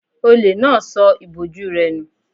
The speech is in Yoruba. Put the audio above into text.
Olè náà sọ ìbòjú rẹ̀ nù